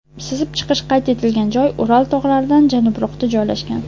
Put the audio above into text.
Sizib chiqish qayd etilgan joy Ural tog‘laridan janubroqda joylashgan.